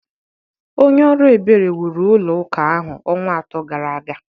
Onye ọrụ ebere wuru ụlọ ụka ahụ ọnwa atọ gara aga